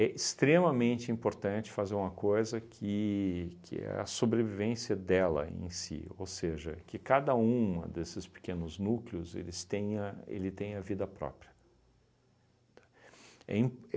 É extremamente importante fazer uma coisa que que é a sobrevivência dela em si, ou seja, que cada uma desses pequenos núcleos eles tenha ele tenha vida própria, tá? É im